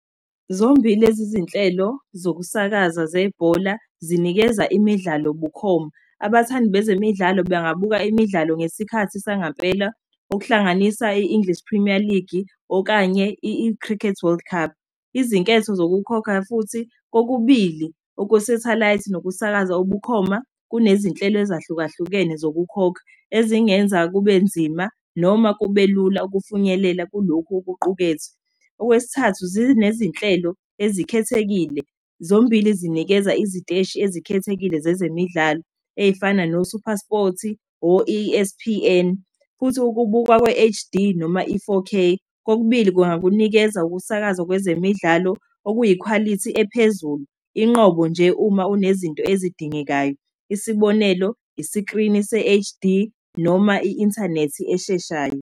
Zombili lezi zinhlelo zokusakaza zebhola zinikeza imidlalo ubukhoma. Abathandi bezemidlalo bengabuka imidlalo ngesikhathi sangampela, okuhlanganisa i-English Premier League, okanye i-Cricket World Cup. Izinketho zokukhokha futhi, kokubili okwe-satellite nokusakaza obukhoma, kunezinhlelo ezahlukahlukene zokukhokha ezingenza kubenzima noma kubelula ukufunyelela kulokhu okuqukethwe. Okwesithathu, zinezinhlelo ezikhethekile, zombili zinikeza iziteshi ezikhethekile zezemidlalo, ey'fana noSuperSport, o-E_S_P_N, futhi ukubukwa kwe-H_D, noma i-four_K. Kokubili kungakunikeza ukusakazwa kwezemidlalo, okuyikhwalithi ephezulu, inqobo nje uma unezinto ezidingekayo. Isibonelo, isikrini se-H_D, noma i-inthanethi esheshayo.